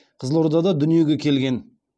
қызылордада дүниеге келген